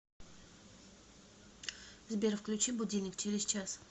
сбер включи будильник через час